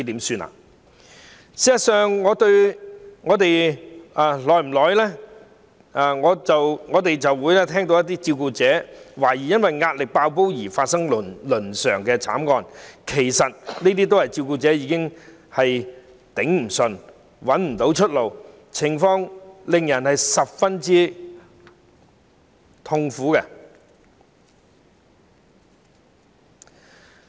事實上，我們間中也會聽聞有關照顧者懷疑因壓力"爆煲"導致的倫常慘劇，這其實正正說明照顧者已支持不住，卻苦無出路，情況令人十分憂慮。